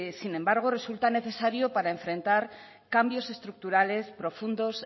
sin embargo resulta necesario para enfrentar cambios estructurales profundos